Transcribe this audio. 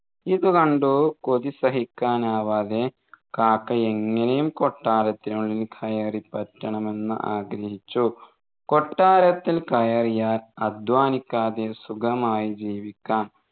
ഇതുകണ്ടു കൊതി സഹിക്കാനാവാതെ കാക്ക എങ്ങേനെയും കൊട്ടാരത്തിനുള്ളിൽ കയറിപ്പറ്റണമെന്ന് ആഗ്രഹിച്ചു കൊട്ടാരത്തിൽ കയറിയാൽ അധ്വാനിക്കാതെ സുഖമായി ജീവിക്കാം